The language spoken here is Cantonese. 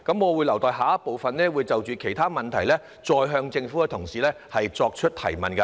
我會留待下一部分，就其他問題再向政府同事提問。